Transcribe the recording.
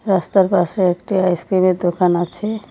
রাস্তার পাশে একটি আইসক্রিমের দোকান আছে।